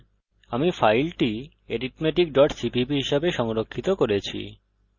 আমি ফাইলটি arithmeticcpp হিসাবে সংরক্ষিত করেছি